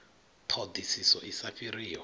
ṱho ḓisiso i sa fhiriho